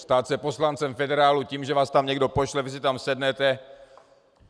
Stát se poslancem federálu tím, že vás tam někdo pošle, vy si tam sednete...